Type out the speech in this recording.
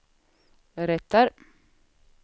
berättar